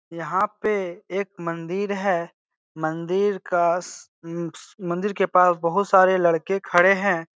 यहाँ पे एक मंदिर है मंदिर कास उ उ मंदिर के पास बहुत सारे लड़के खड़े हैं।